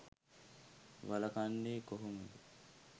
වළකන්නේ කොහොමද?